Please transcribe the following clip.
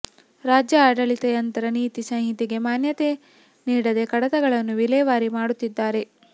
ರಾಜ್ಯ ಆಡಳಿತ ಯಂತ್ರ ನೀತಿ ಸಂಹಿತೆಗೆ ಮಾನ್ಯತೆ ನೀಡದೇ ಕಡತಗಳನ್ನು ವಿಲೇವಾರಿ ಮಾಡುತ್ತಿದ್ದಾರೆ